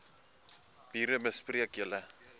bure bespreek julle